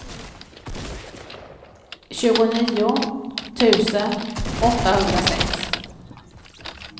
tjugonio tusen åttahundrasex